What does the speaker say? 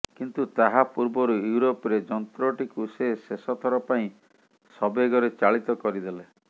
କିନ୍ତୁ ତାହା ପୂର୍ବରୁ ୟୁରୋପରେ ଯନ୍ତ୍ରଟିକୁ ସେ ଶେଷଥର ପାଇଁ ସବେଗରେ ଚାଳିତ କରିଦେଲେ